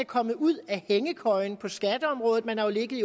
kommet ud af hængekøjen på skatteområdet man har jo ligget